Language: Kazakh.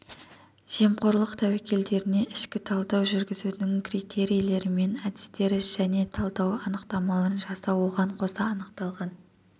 жемқорлық тәуекелдеріне ішкі талдау жүргізудің критерилері мен әдістері және талдау анықтамаларын жасау оған қоса анықталған